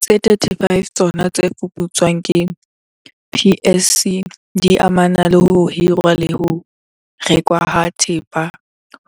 Tse 35 tsa tsona tse fuputswang ke PSC di amana le ho hirwa le ho rekwa ha thepa